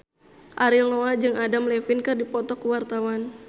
Ariel Noah jeung Adam Levine keur dipoto ku wartawan